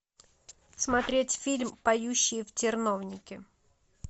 смотреть фильм поющие в терновнике